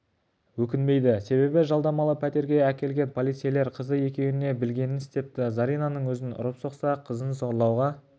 өкінбейді себебі жалдамалы пәтерге әкелген полицейлер қызы екеуіне білгенін істепті заринаның өзін ұрып-соқса қызын зорлауға